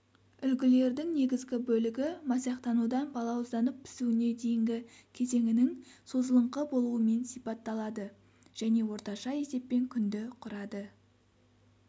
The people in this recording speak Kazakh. үлгілердің негізгі бөлігі масақтанудан балауызданып пісуіне дейінгі кезеңінің созылыңқы болуымен сипатталады және орташа есеппен күнді құрады